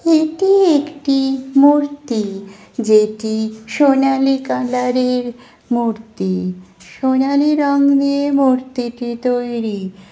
এটি একটি মূর্তি- যেটি সোনালী কালারের মূর্তি- সোনালী রং দিয়ে মূর্তি টি তৈরী--